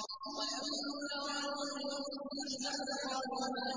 وَلَمَّا رَأَى الْمُؤْمِنُونَ الْأَحْزَابَ قَالُوا هَٰذَا